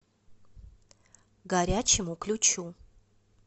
горячему ключу